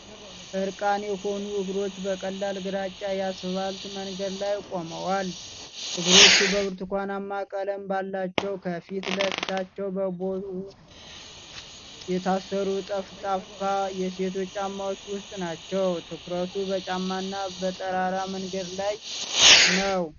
እርቃን የሆኑ እግሮች በቀላል ግራጫ የአስፋልት መንገድ ላይ ቆመዋል። እግሮቹ በብርቱካናማ ቀለም ባላቸው፣ ከፊት ለፊታቸው በቦው የታሰሩ፣ ጠፍጣፋ የሴቶች ጫማዎች ውስጥ ናቸው። ትኩረቱ በጫማና በጠራራ መንገድ ላይ ነው።